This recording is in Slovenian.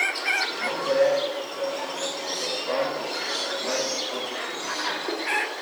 Dobro je, da smo se po zaostanku osemnajstih točk približali.